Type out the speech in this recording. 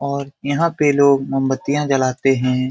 और यहां पे लोग मोमबत्तियां जलाते हैं।